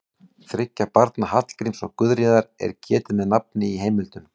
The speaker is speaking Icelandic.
Þriggja barna Hallgríms og Guðríðar er getið með nafni í heimildum.